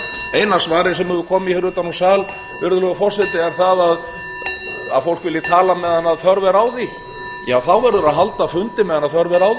eina svarið sem hefur komið utan úr sal virðulegur forseti er að fólk vilji tala meðan þörf er á því ja þá verður að halda fundi meðan þörf er